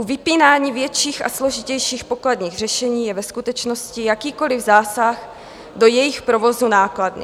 U vypínání větších a složitějších pokladních řešení je ve skutečnosti jakýkoliv zásah do jejich provozu nákladný.